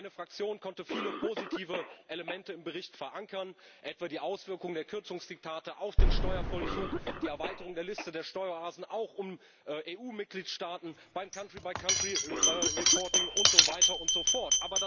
Meine Fraktion konnte viele positive Elemente im Bericht verankern etwa die Auswirkungen der Kürzungsdiktate auf den Steuervollzug, die Erweiterung der Liste der Steueroasen auch um EU Mitgliedstaaten beim country by country reporting und so weiter und so fort.